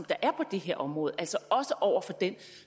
er på det her område altså også over for den